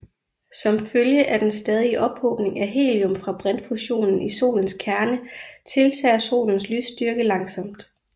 Som følge af den stadige ophobning af helium fra brintfusionen i Solens kerne tiltager Solens lysstyrke langsomt